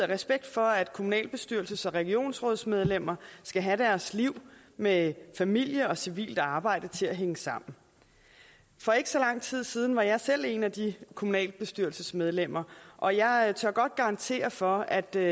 respekt for at kommunalbestyrelses og regionsrådsmedlemmer skal have deres liv med familien og deres civile arbejde til at hænge sammen for ikke så lang tid siden var jeg selv en af de kommunalbestyrelsesmedlemmer og jeg tør godt garantere for at det